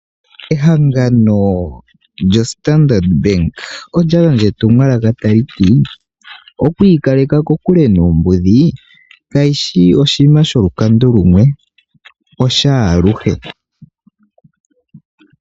Ehangano lyoStandard Bank olya gandja etumwalaka tali ti: oku ikaleka kokule noombudhi kayishi oshinima shoshikando shimwe osha aluhe.